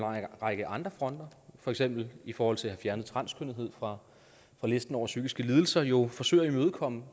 række andre fronter for eksempel i forhold til at have fjernet transkønnethed fra listen over psykiske lidelser jo forsøger at imødekomme